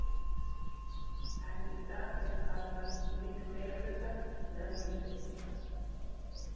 Enn í dag eru karlar í miklum meirihluta meðal heimspekinga.